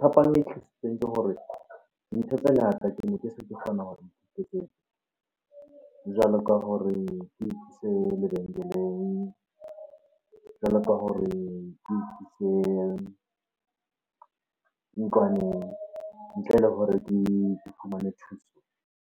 Phapang e tlisitseng ke hore ntho tse ngata kene ke se ke kgona ho iketsetsa jwalo ka hore ke ikise lebenkeleng, jwalo ka hore ke ikise ntlwaneng ntle le hore ke fumane thuso.